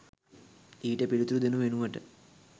ඊට පිළිතුරු දෙනු වෙනුවට